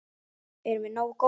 Erum við nógu góðir?